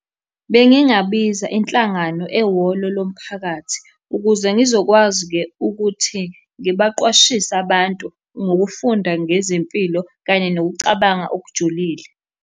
Bengingabiza inhlangano ehholo lomphakathi ukuze ngizokwazi-ke ukuthi ngibaqwashise abantu ngokufunda ngezempilo, kanye nokucabanga okujulile.